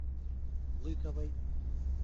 лыковой